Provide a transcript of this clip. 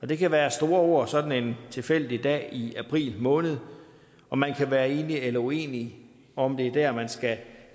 det kan være store ord på sådan en tilfældig dag i april måned og man kan være enig eller uenig i om det er der man skal